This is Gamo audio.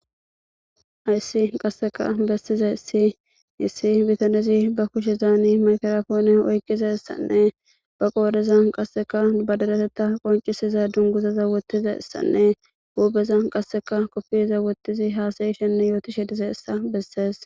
Ayssi qasseka bessiza issi yissi bitanizi ba kushe zaani makarafoone oykqiza issanne ba qoodeza qasseka badadatetta qoncisiza dunguzaza wottiza issanne huubeza qasseka koppiriza wottizi haasayishenne yootishe dize issa bessees.